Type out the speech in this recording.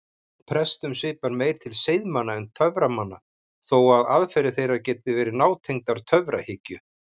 Prestum svipar meir til seiðmanna en töframanna þó að aðferðir þeirra geti verið nátengdar töfrahyggju.